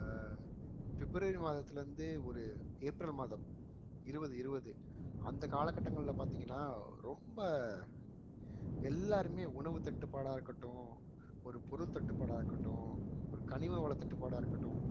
பிப்ரவரி மாதத்திலிருந்து ஒரு ஏப்ரல் மாதம் இருவது இருவது அந்த காலகட்டங்கள்ல பார்த்தீங்கன்னா ரொம்ப எல்லாருமே உணவு தட்டுப்பாடா இருக்கட்டும் ஒரு பொருள் தட்டுப்பாடா இருக்கட்டும் ஒரு கனிம வளத் தட்டுப்பாடா இருக்கட்டும்